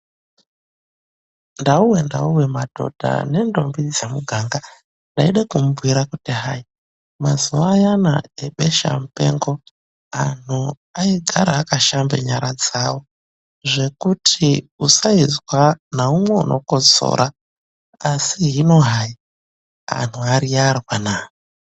Ndauwe, ndauwe, madhodha nendombi dzemuganga, ndayida kumubhuyira kuti hayi ,mazuva ayana ebesha mupengo, anhu ayigara akashambe nyara dzawo zvekuti usayizwa naumwe unokosora asi hino hayi, anhu ariyarwa naa.